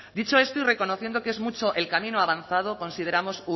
dicho esto y reconociendo que es mucho el camino avanzado consideramos